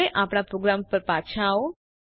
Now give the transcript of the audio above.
હવે આપણા પ્રોગ્રામ ઉપર પાછા આવો